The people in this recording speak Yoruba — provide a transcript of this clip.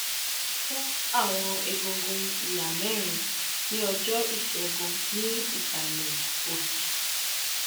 mo fọ awọn egungun iha mẹrin ni ọjọ-isegun ni isalẹ osi